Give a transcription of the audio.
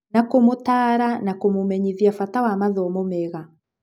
Na kũmũtaara na kũmũmenyithia bata wa mathomo mega.